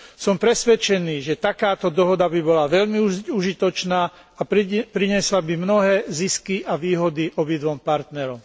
Som presvedčený, že takáto dohoda by bola veľmi užitočná a priniesla by mnohé zisky a výhody obidvom partnerom.